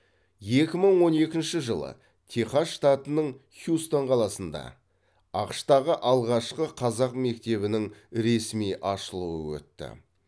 екі мың он екінші жылы техас штатының хьюстон қаласында ақш тағы алғашқы қазақ мектебінің ресми ашылуы өтті